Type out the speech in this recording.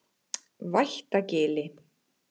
Vættagili